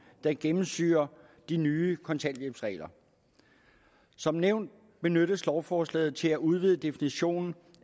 der gennemsyrer de nye kontanthjælpsregler som nævnt benyttes lovforslaget til at udvide definitionen